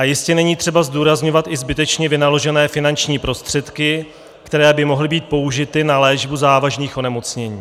A jistě není třeba zdůrazňovat i zbytečně vynaložené finanční prostředky, které by mohly být použity na léčbu závažných onemocnění.